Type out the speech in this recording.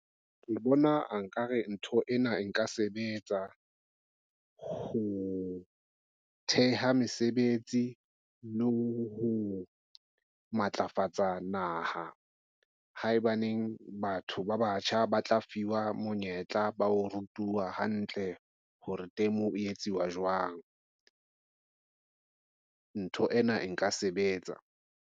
Ke bona nkare ntho ena. Nka sebetsa ho theha mesebetsi le ho matlafatsa naha. Haebaneng batho ba batjha ba tla fiwa monyetla ba ho rutuwa hantle hore teng moo o etsuwa jwang. Ntho ena e nka sebetsa.